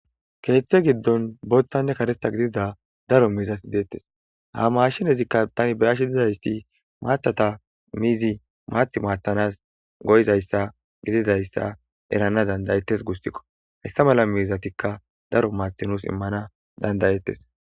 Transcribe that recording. keeththe giddon booththanne karetha gidida daro miizati deettes ha mashenezikka tani be7ashi dizayti maathata miizi maath maathanas go7izayssa gididayssa erana dandayettes gusikko hayssa mala miizatikka daro maatha nuus immana dandayettes.